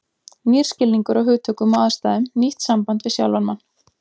Nýr skilningur á hugtökum og aðstæðum, nýtt samband við sjálfan mann.